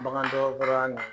bagan dɔgɔtɔrɔya nin